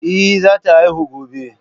Ehh, zata haihu gobe.